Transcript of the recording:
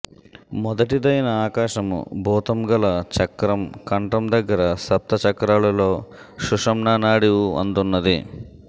మొదటిదైన ఆకాశము భూతంగల చక్రం కంఠం దగ్గర సప్తచక్రాలు లలో సుషుమ్నానాడి ఉఅందున్నది